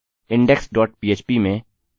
index dot php में हमने post के रूप में method का उपयोग किया